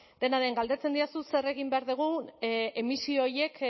dena den galdetzen didazu zer egin behar dugun emisio horiek